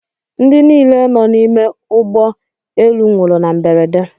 Ndị niile nọ n’ime ụgbọ elu nwụrụ na mberede